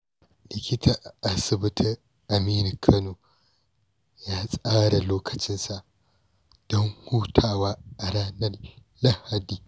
Likita a Asibitin Aminu Kano ya tsara lokacinsa don hutawa a ranar Lahadi.